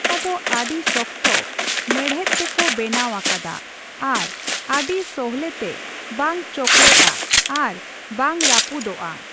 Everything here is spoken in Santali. ᱚᱱᱟ ᱫᱚ ᱟᱹᱰᱤ ᱥᱚᱠᱚᱛᱚ ᱢᱮᱬᱦᱮᱫ ᱛᱮᱠᱚ ᱵᱮᱱᱟᱣ ᱟᱠᱟᱫᱟ ᱟᱨ ᱟᱹᱰᱤ ᱥᱚᱞᱦᱮᱛᱮ ᱵᱟᱝ ᱪᱚᱠᱲᱮᱜᱼᱟ ᱟᱨ ᱵᱟᱝ ᱨᱟᱹᱯᱩᱫᱚᱜᱼᱟ ᱾